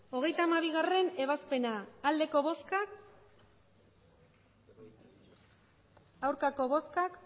hogeita hamabigarrena ebazpena emandako botoak